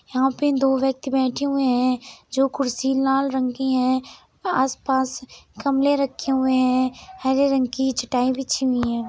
यहाँ पे दो व्यक्ति बैठे हुए हैं जो कुर्सी लाल रंग की है आस पास गमले रखे हुए है हरे रंग की चटाई बिछी हुई है।